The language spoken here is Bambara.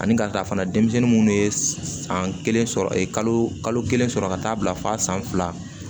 Ani ka ta fana denmisɛnnin minnu ye san kelen sɔrɔ e kalo kelen sɔrɔ ka taa bila fa san fila